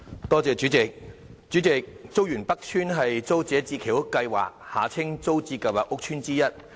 代理主席，竹園北邨是租者置其屋計劃屋邨之一。